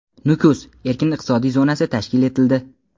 "Nukus" erkin iqtisodiy zonasi tashkil etildi.